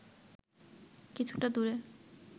কিছুটা দূরে